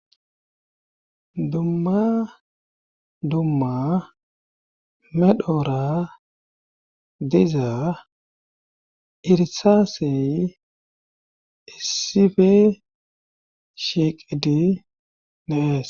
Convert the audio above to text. Dumma dumma medhora diza irisaasey issife shiiqidi dee'es